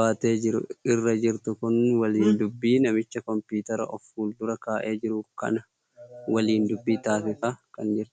baatee jiru irra jirtu kun waliin dubbii namicha kompiitara of fuuldura kaa'e jiru kana waliin dubbii taasisaa kan jirtudha.